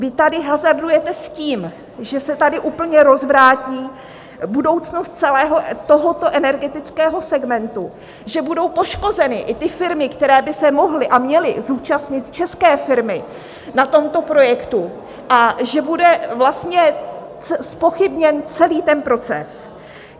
Vy tady hazardujete s tím, že se tady úplně rozvrátí budoucnost celého tohoto energetického segmentu, že budou poškozeny i ty firmy, které by se mohly a měly zúčastnit - české firmy - na tomto projektu a že bude vlastně zpochybněn celý ten proces.